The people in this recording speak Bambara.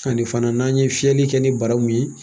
Ani fana n'a ye fiyɛli kɛ ni bara mun ye